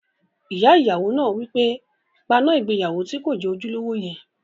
Ìyá ìyàwó náà wí pé, "paná ìgbéyàwó tí kò jẹ́ ojúlówó yẹn!"